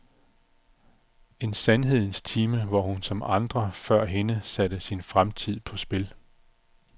En sandhedens time, hvor hun som andre før hende satte sin fremtid på spil.